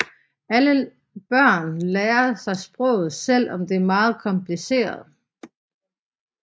Alle børn lærer sig sproget selv om det er meget kompliceret